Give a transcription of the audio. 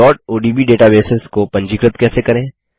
odb databases को पंजीकृत कैसे करें